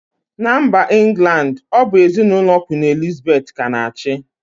Na mba England ọ bụ ezinụlọ kwin Elizabeth ka na-achị